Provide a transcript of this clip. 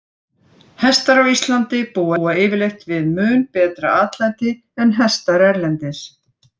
Hestar á Íslandi búa yfirleitt við mun betra atlæti en hestar erlendis.